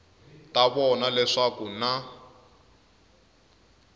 ta vona leswaku ku na